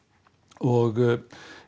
og